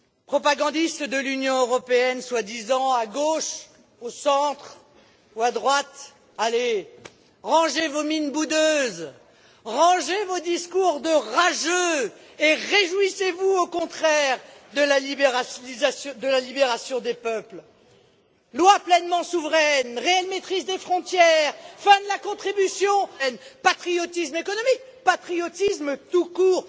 Propagandistes de l'Union européenne soi disant à gauche, au centre ou à droite, rangez vos mines boudeuses, rangez vos discours de rageux et réjouissez vous au contraire de la libération des peuples lois pleinement souveraines, réelle maîtrise des frontières, fin de la contribution à l'Union européenne, patriotisme économique, patriotisme tout court.